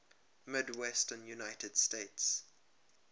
midwestern united states